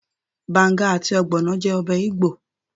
Banga àti ogbono jẹ́ ọbẹ̀ igbo.